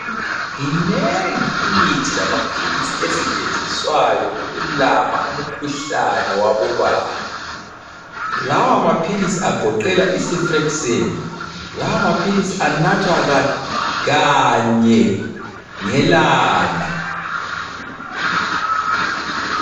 Minengi imithi lamaphilisi esetshenziswayo ukulapha umkhuhlane wabobaba. Lawa maphilisi agoqela icefixime, lawa maphilisi anathwa kanye ngelanga.